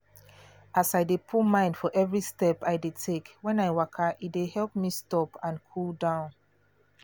as i dey put mind for every step i dey take when i waka e dey help me stop and cool down